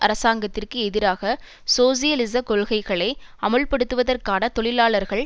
அரசாங்கத்திற்கு எதிராக சோசியலிச கொள்கைகளை அமுல்படுத்துவதற்கான தொழிலாளர்கள்